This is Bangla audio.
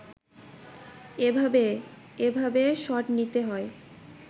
এভাবে এভাবে শট নিতে হয়